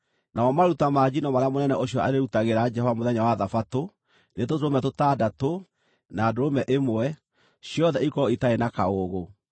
Namo maruta ma njino marĩa mũnene ũcio arĩĩrutagĩra Jehova mũthenya wa Thabatũ nĩ tũtũrũme tũtandatũ, na ndũrũme ĩmwe, ciothe ikorwo itarĩ na kaũũgũ.